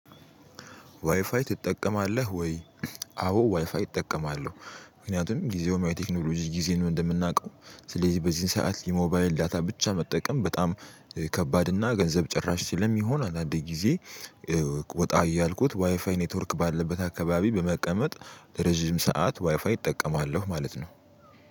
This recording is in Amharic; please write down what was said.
ዋይፋይ ትጠቀማለህ ወይ? አዎ ዋይፋይ እጠቀማለሁ ምክንያቱም ጊዜው ቴክኖሎጂ ጊዜን እንደምናውቀው ስለዚህ በዚህ ሰዓት የሞባይል ዳታ ብቻ መጠቀም በጣም ከባድ እና ገንዘብ ጭራሽ ስለሚሆን አንዳንዴ ጊዜ ወጣ እያልኩት ዋይፋይ ኔትወርክ ባለበት አካባቢ በመቀመጥ ረጅም ሰዓት ዋይፋይ እጠቀማለሁ ማለት ነው።